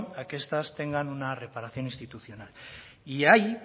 a que estas tengan una reparación institucional y ahí